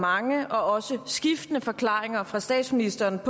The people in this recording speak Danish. mange og også skiftende forklaringer fra statsministerens